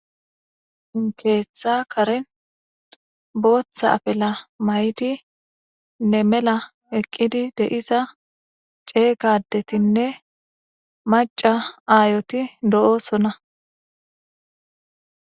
Keeththa karen booththa afela mayti ne mela eqqidi deisa ceegadetinne maca aayoti do7osona.